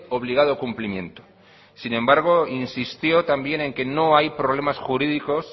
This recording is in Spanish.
obligado cumplimiento sin embargo insistió también en que no hay problemas jurídicos